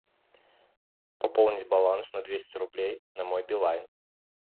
пополнить баланс на двести рублей на мой билайн